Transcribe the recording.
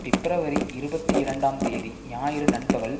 பிப்ரவரி இருபத்தி இரண்டாம் தேதி ஞாயிறு நண்பகல்